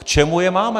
K čemu je máme?